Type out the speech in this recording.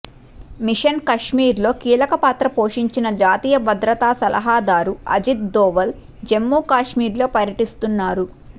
machine కశ్మీర్లో కీలకపాత్ర పోషించిన జాతీయ భద్రతా సలహాదారు అజిత్ దోవల్ జమ్మూకశ్మీర్లో పర్యటిస్తున్నారు